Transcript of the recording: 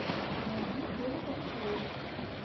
найди теле ток шоу